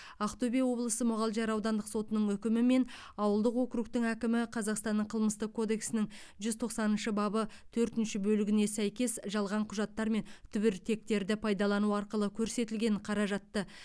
ақтөбе облысы мұғалжар аудандық сотының үкімімен ауылдық округтің әкімі қазақстанның қылмыстық кодексінің жүз тоқсаныншы бабы төртінші бөлігіне сәйкес жалған құжаттар мен түбіртектерді пайдалану арқылы көрсетілген қаражатты